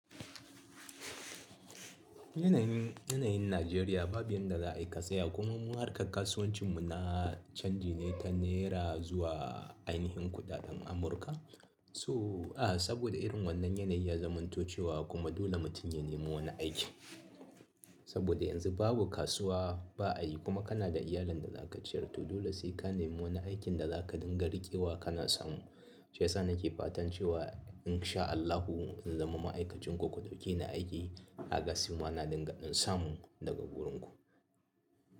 Yanayin, yanayin Najeriya babu yanda za a yi katsaya kuma mu harkar kasuwancin mu na canji ne ta nera zuwa ainihin kuɗaɗen Amurka. So a saboda irin wannan yanayi ya zamantocewa kuma dole mutum ya nemi wani aiki. Saboda yanzu babu kasuwa ba a yi kuma kana da iyalin da za ka ciyar. To dole sai ka nemi wani aikin da za ka dinga riƙewa kana samu. Shi yasa nake fatan cewa in sha Allahu in zama ma'aikacin ku, ku dauki ni aiki a kasuwa na dinga in samu daga wurinku.